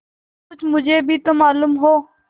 कुछ मुझे भी तो मालूम हो